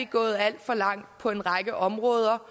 gået alt for langt på en række områder